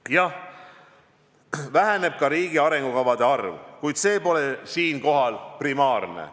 Jah, väheneb ka riigi arengukavade arv, kuid see pole siinkohal primaarne.